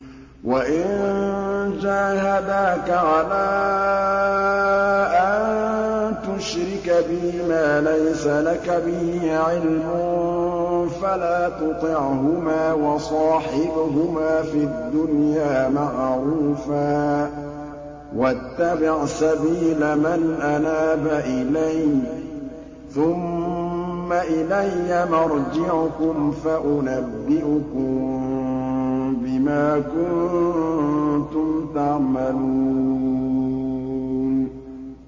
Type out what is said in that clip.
وَإِن جَاهَدَاكَ عَلَىٰ أَن تُشْرِكَ بِي مَا لَيْسَ لَكَ بِهِ عِلْمٌ فَلَا تُطِعْهُمَا ۖ وَصَاحِبْهُمَا فِي الدُّنْيَا مَعْرُوفًا ۖ وَاتَّبِعْ سَبِيلَ مَنْ أَنَابَ إِلَيَّ ۚ ثُمَّ إِلَيَّ مَرْجِعُكُمْ فَأُنَبِّئُكُم بِمَا كُنتُمْ تَعْمَلُونَ